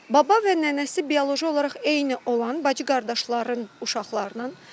Baba və nənəsi bioloji olaraq eyni olan bacı-qardaşların uşaqlarının.